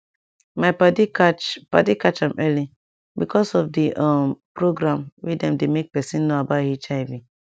my padi catch padi catch am early because of d um program wey dem dey make pesin know about hiv